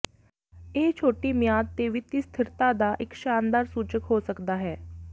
ਇਹ ਛੋਟੀ ਮਿਆਦ ਦੇ ਵਿੱਤੀ ਸਥਿਰਤਾ ਦਾ ਇੱਕ ਸ਼ਾਨਦਾਰ ਸੂਚਕ ਹੋ ਸਕਦਾ ਹੈ